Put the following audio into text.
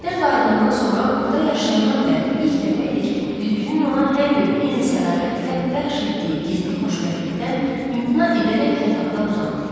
İşdən qayıdandan sonra burda yaşayandan bəri ilk dəfə idi ki, güzgünün ona hər gün eyni sədaqətlə bəxş etdiyi gizli xoşbəxtlikdən imtina edərək yataqda uzandı.